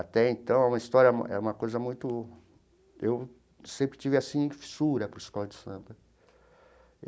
Até então, é uma história era era uma coisa muito... Eu sempre tive assim fissura por escola de samba.